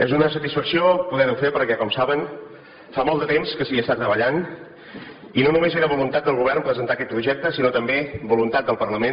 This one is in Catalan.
és una satisfacció poder ho fer perquè com saben fa molt de temps que s’hi està treballant i no només era voluntat del govern presentar aquest projecte sinó també voluntat del parlament